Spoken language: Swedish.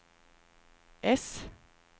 äss